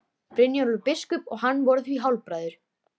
Brynjólfur biskup og hann voru því hálfbræður.